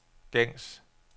gængs